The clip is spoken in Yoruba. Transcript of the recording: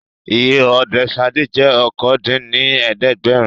Iye Òde Ṣadé jẹ́ okòó dín ní ẹ̀ẹ́dẹ́gbẹ́rún